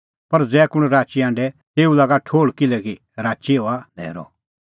पर ज़ै कुंण राची हांढे तेऊ लागा ठोहल़ किल्हैकि राची हआ न्हैरअ